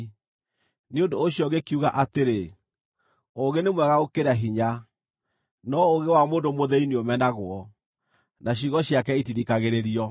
Nĩ ũndũ ũcio ngĩkiuga atĩrĩ, “Ũũgĩ nĩ mwega gũkĩra hinya.” No ũũgĩ wa mũndũ mũthĩĩni nĩũmenagwo, na ciugo ciake itithikagĩrĩrio.